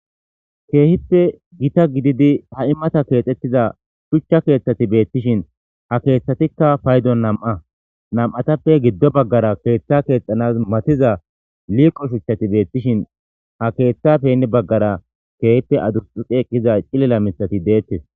Keehippe gita gididi ha immata keexxettiza shuchcha keeththati beettishin ha keeththatikka paydo nam'a nam'atappe giddo baggara keeththa keexxanas matiza liiqo shuchchati beettishin ha keeththa penne baggara keehippe adursxuqi eqqiza cilila mitati deettes.